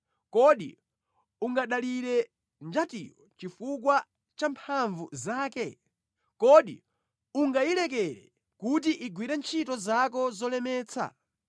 Kodi ungadalire njatiyo chifukwa champhamvu zake? Kodi ungayilekere kuti igwire ntchito zako zolemetsa?